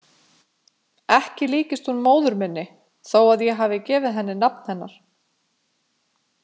Ekki líkist hún móður minni þó að ég hafi gefið henni nafn hennar.